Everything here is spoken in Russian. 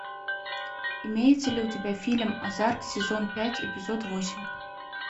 имеется ли у тебя фильм озарк сезон пять эпизод восемь